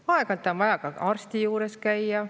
Aeg-ajalt on vaja ka arsti juures käia.